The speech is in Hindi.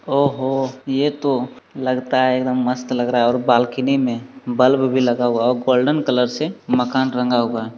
ओहो ये तो लगता है एकदम मस्त लग रहा है और बालकनी में बल्ब भी लगा हुआ है और गोल्डन कलर से मकान रंगा हुआ है।